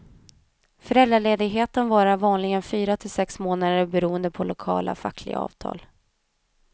Föräldraledigheten varar vanligen fyra till sex månader beroende på lokala fackliga avtal.